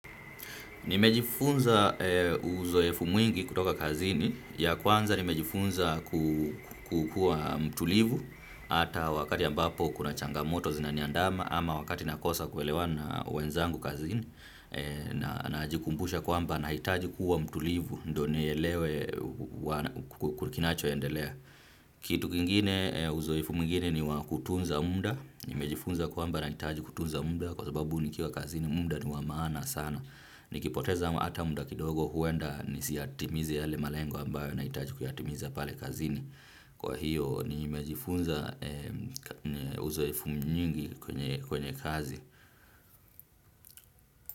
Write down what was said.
Nimejifunza uzoefu mwingi kutoka kazini. Ya kwanza nimejifunza, kukua mtulivu ata wakati ambapo kuna changamoto zinaniandama ama wakati nakosa kuelewana na wenzangu kazini, najikumbusha kwamba nahitaji kuwa mtulivu ndio nielewe kinachoendelea. Kitu kingine, uzoefu mwingine ni wa kutunza muda, nimejifunza kwamba nahitaji kutunza muda kwa sababu nikiwa kazini muda ni wa maana sana. Nikipoteza hata muda kidogo huenda nisiyatimize yale malengu ambayo nahitaji kuyatimiza pale kazini. Kwa hiyo nimejifunza uzoefu nyingi kwenye kazi.